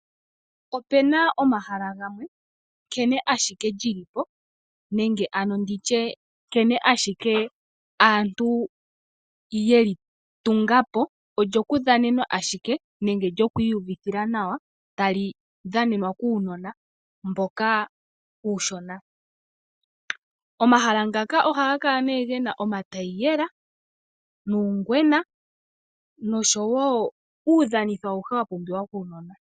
Opu na omahala gamwe, nkene ashike lyili po nenge ano ndi tye, nkene ashike aantu yeli tunga po, olyo ku dhanenwa ashike nenge lyoku iyuvithila nawa, tali dhanenwa kuunona mboka uushona. Omahala ngaka ohaga kala nee ge na omataiyela nuungwena, nosho wo uudhanitho awuhe wa pumbiwa kuunona.